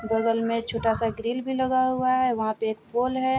बगल में छोटा सा ग्रिल भी लगा हुआ है वहाँ पे एक पोल है।